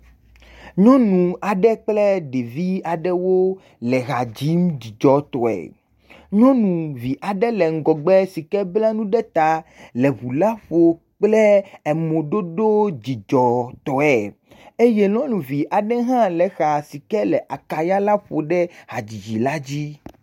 Nyɔnu aɖe kple ɖevi aɖewo le ha dzim dzidzɔtɔe, nyɔnuvi aɖe le ŋgɔgbe si ke bla nu ɖe ta le ŋu la ƒom kple emoɖoɖo dzidzɔtɔe eye nyɔnuvi aɖe hã le exa si ke le akaya la ƒom ɖe hadzidzi la dzi.